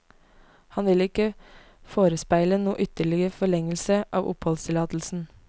Han vil ikke forespeile noen ytterligere forlengelse av oppholdstillatelsen.